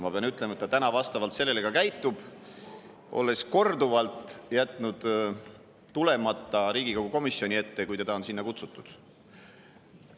Ma pean ütlema, et ta nüüd vastavalt sellele ka käitub, olles korduvalt jätnud tulemata Riigikogu komisjoni ette, kui teda on sinna kutsutud.